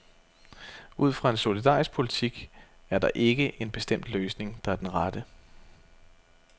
Ud fra en solidarisk politik er der ikke en bestemt løsning, der er den rette.